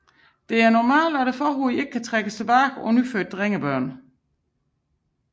Det er normalt at forhuden ikke kan trækkes tilbage hos nyfødte drengebørn